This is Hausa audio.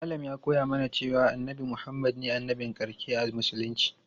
Malam ya koya mana cewa annabi Muhammad ne annabin ƙarshe a musulunci.